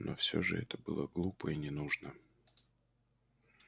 но всё же это было глупо и ненужно